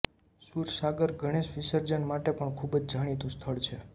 સુરસાગર ગણેશ વિસર્જન માટે પણ ખુબ જ જાણીતું સ્થળ છે